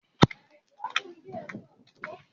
Ṣé kílípù náà má mú wáyà dúró dáadáa?